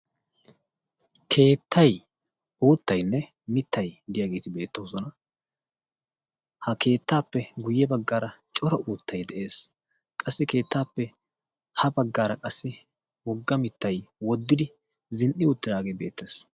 keettay, oottaynne mittay diyaageeti beettoosona. ha keettaappe guyye baggaara cora uuttay de7ees. qassi keettaappe ha baggaara qassi wogga mittay woddidi zin77i uttidaagee beettees.